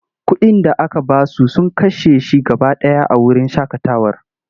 Kuɗin da aka ba su sun kashe shi gaba ɗaya a wurin shaƙatawar.